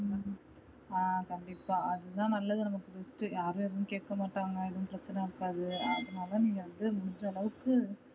ஆஹ் கண்டிப்பா அதுதா நல்லது நமக்கு best யாரும் எதுவும் கேக்கமாட்டாங்க எதுவும் பிரச்சன இருக்காது அதுனால நீங்க வந்து முடிஞ்ச அளவுக்கு